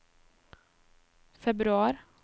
februar